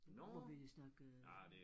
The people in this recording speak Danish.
Må vi snakke øh